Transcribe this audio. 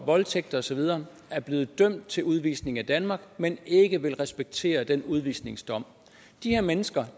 voldtægt og så videre er blevet dømt til udvisning af danmark men ikke vil respektere den udvisningsdom de her mennesker